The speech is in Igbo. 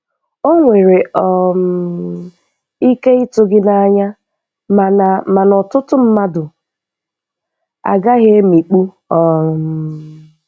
Ọ nwere um ike ịtụ gị n'anya, mana mana ọtụtụ mmadụ agaghị emikpu um